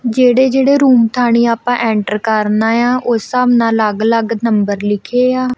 ਜਿਹੜੇ ਜਿਹੜੇ ਰੂਮ ਥਾਣੇ ਆਪਾਂ ਐਂਟਰ ਕਰਨਾ ਆ ਉਸ ਹਿਸਾਬ ਨਾਲ ਅਲੱਗ ਅਲੱਗ ਨੰਬਰ ਲਿਖੇ ਆ।